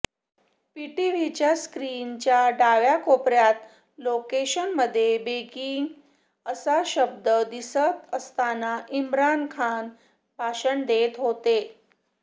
पीटीव्हीच्या स्क्रीनच्या डाव्या कोपऱ्यात लोकेशनमध्ये बेगिंग असा शब्द दिसत असतानाच इम्रान खान भाषण देत होते